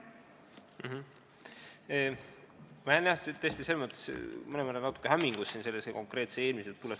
Ma jään tõesti mõnevõrra natukene hämmingusse, mis sellel konkreetsel juhul juhtus.